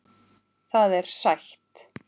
Það er sætt.